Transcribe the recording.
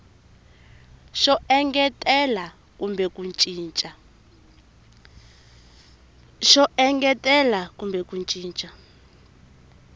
xo engetela kumbe ku cinca